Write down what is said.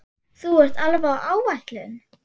Þú ert alveg á áætlun.